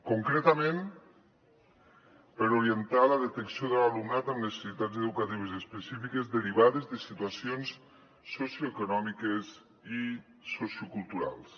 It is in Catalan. concretament per orientar la detecció de l’alumnat amb necessitats educatives específiques derivades de situacions socioeconòmiques i socioculturals